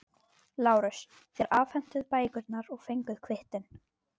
LÁRUS: Þér afhentuð bækurnar og fenguð kvittun.